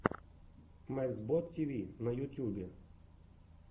мексбод тиви на ютюбе